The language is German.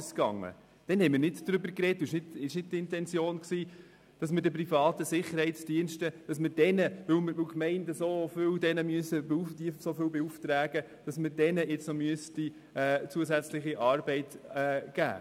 Es war nicht die Intention, den privaten Sicherheitsdiensten zusätzliche Arbeit zu geben, weil sie von den Gemeinden so viele Aufträge bekämen.